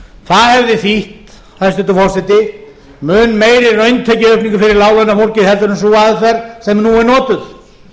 það hefði þýtt hæstvirtur forseti mun meiri rauntekjuaukningu fyrir láglaunafólkið en sú aðferð sem nú er notuð